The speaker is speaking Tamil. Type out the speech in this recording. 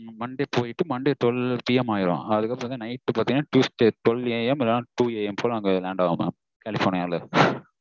monday போய்ட்டு monday twelve PM ஆகிடும் அதுக்கு அப்றம் night பாத்தீங்கனா tuesday twelve AM இல்ல two AM போல land ஆகும் mam கலிஃபொர்னியால